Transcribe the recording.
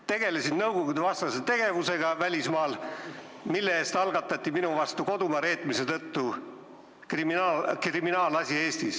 Tegelesin välismaal nõukogudevastase tegevusega ja kodumaa reetmise tõttu algatati minu vastu Eestis kriminaalasi.